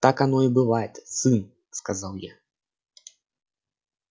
так оно и бывает сын сказал я